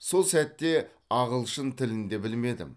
сол сәтте ағылшын тілін де білмедім